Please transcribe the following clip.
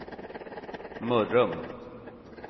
Mörrum